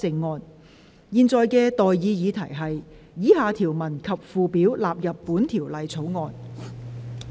我現在向各位提出的待議議題是：以下條文及附表納入本條例草案。